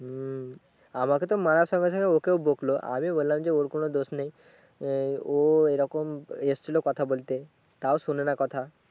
আমাকে তো মারাতে মারাতে ওকে ও বোকলো আমি বললাম যে ওর কোনো দোষ নেই ও এরকম এসছিলো কথা বলতে তাও শোনেনা কথা